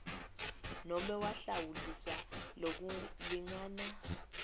nobe wahlawuliswa lokulingana